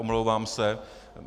Omlouvám se.